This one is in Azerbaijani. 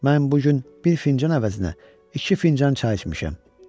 Mən bu gün bir fincan əvəzinə iki fincan çay içmişəm.